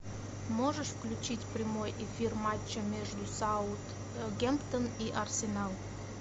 можешь включить прямой эфир матча между саутгемптон и арсенал